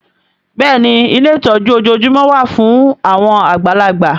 Bẹ́ẹ̀ni ilé ìtọ́jú ojoojúmọ́ wà fún àwọn àgbàlagbà